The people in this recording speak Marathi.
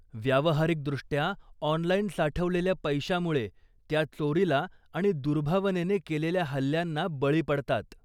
व्यावहारिकदृष्ट्या 'ऑनलाइन' साठवलेल्या पैशामुळे, त्या चोरीला आणि दुर्भावनेने केलेल्या हल्ल्यांना बळी पडतात.